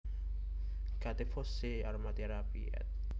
Gattefossé Aromatherapy éd